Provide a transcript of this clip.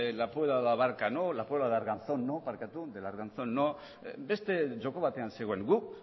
la puebla del arganzón no beste joko batean zegoen guk